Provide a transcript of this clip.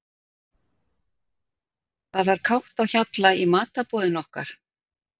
Það var kátt á hjalla í matarboðinu okkar.